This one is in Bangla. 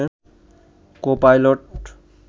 কো পাইললট